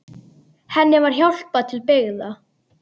Henni var hjálpað til byggða.